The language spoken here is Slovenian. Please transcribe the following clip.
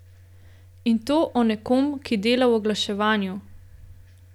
In to o nekom, ki dela v oglaševanju.